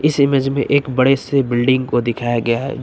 इस इमेज में एक बड़े से बिल्डिंग को दिखाया गया है।